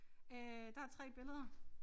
Øh der er 3 billeder